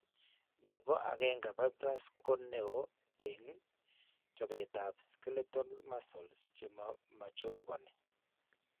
Ne po 1 fibrers ko ne oo eng' chopetap skeletal muscles che ma chokani.